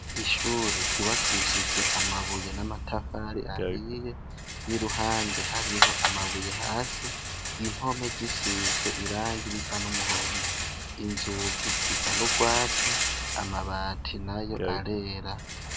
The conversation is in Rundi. Ishure ryubakishijwe amabuye n’amatafari ahiye, iruhande hariho amabuye hasi, impome zisizwe irangi risa n’umuhondo, inzugi zisa n’urwatsi, amabati nayo arera.